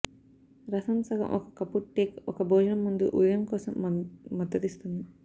రసం సగం ఒక కప్పు టేక్ ఒక భోజనం ముందు ఉదయం కోసం మద్దతిస్తుంది